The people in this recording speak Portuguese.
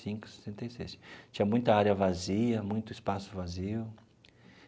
Cinco e sessenta e seis tinha muita área vazia, muito espaço vazio.